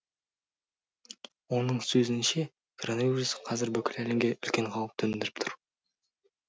оның сөзінше коронавирус қазір бүкіл әлемге үлкен қауіп төндіріп тұр